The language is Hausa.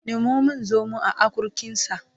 Nemo min zomo a akurkinsa